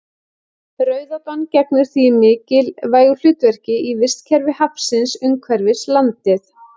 Rauðátan gegnir því mikilvægu hlutverki í vistkerfi hafsins umhverfis landið.